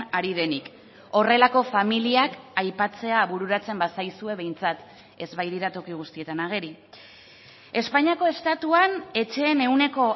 ari denik horrelako familiak aipatzea bururatzen bazaizue behintzat ez baitira toki guztietan ageri espainiako estatuan etxeen ehuneko